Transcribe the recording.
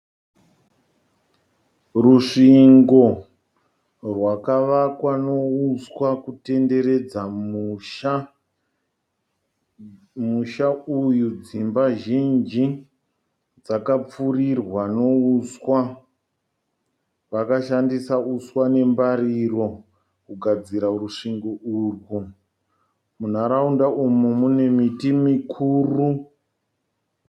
Rusvingo rwakavakwa nouswa kutenderedza musha. Musha uyu dzimba zhinji dzakapfurirwa nouswa. Vakashandisa uswa nembariro kugadzira rusvingo urwu. Munharaunda mune miti mikuru.